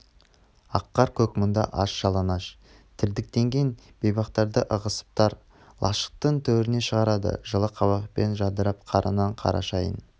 ақ қар-көк мұзда аш-жалаңаш дірдектеген бейбақтарды ығысып тар лашықтың төрініе шығарды жылы қабақпен жадырап қара нан қара шайын